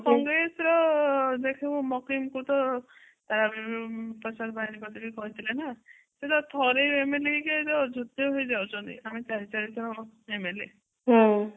ହୁଁ